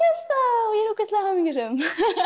ég er ógeðslega hamingjusöm